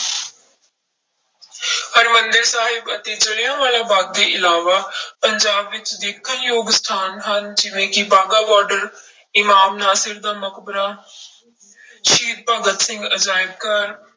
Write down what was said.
ਹਰਿਮੰਦਰ ਸਾਹਿਬ ਅਤੇ ਜ਼ਿਲ੍ਹਿਆਂ ਵਾਲਾ ਬਾਗ਼ ਦੇ ਇਲਾਵਾ ਪੰਜਾਬ ਵਿੱਚ ਦੇਖਣ ਯੋਗ ਸਥਾਨ ਹਨ ਜਿਵੇਂ ਕਿ ਬਾਗਾ ਬਾਰਡਰ, ਇਮਾਮ ਨਾਸਿਰ ਦਾ ਮਕਬਰਾ ਸ਼ਹੀਦ ਭਗਤ ਸਿੰਘ ਅਜ਼ਾਇਬ ਘਰ